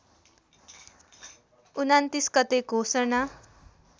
२९ गते घोषणा